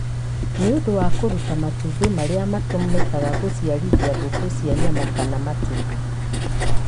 nĩ ũndũ wa kũruta matumbĩ, marĩa matũmĩkaga gũciarithia ngũkũ cia nyama kana matumbĩ